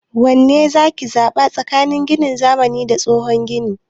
Wanne zaki zaɓa tsakanin ginin zamani da tsohon gini?